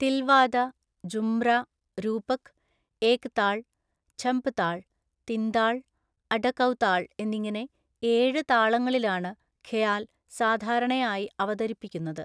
തില്‍വാദ, ജുമ്ര, രൂപക്, ഏക് താൾ, ഝപ്താള്‍, തിന്താള്‍, അഡകൗതാള്‍ എന്നിങ്ങനെ ഏഴ് താളങ്ങളിലാണ് ഖയാല്‍ സാധാരണയായി അവതരിപ്പിക്കുന്നത്.